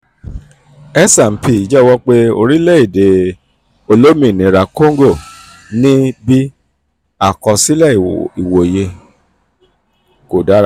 s&p um jẹ́wọ́ pé orílẹ̀-èdè olómìnira congo ní 'b-/b' àkọsílẹ̀ ìwòye; àkọsílẹ̀ ìwòye kò dára